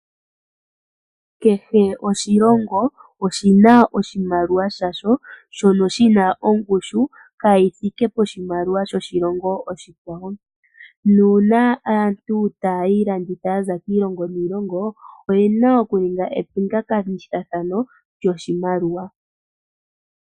Kehe oshilongo oshina oshimaliwa sha sho shono shi na ongushu ka yi thike poshimaliwa shoshilongo oshikwawo, nuuna aantu ta ya iilanditha ya za kiilongo niilongo, oye na oku ninga epingakanithathano lyoshimaliwa.